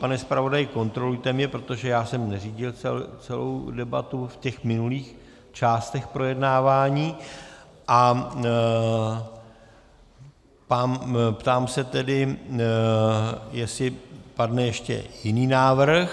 Pane zpravodaji, kontrolujte mě, protože já jsem neřídil celou debatu v těch minulých částech projednávání, a ptám se tedy, jestli padne ještě jiný návrh.